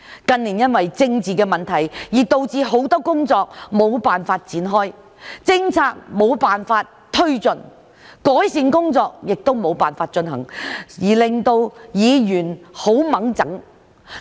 近年因為政治的問題，導致很多工作無法展開，政策無法推進，改善工作也無法進行，令到議員很煩躁。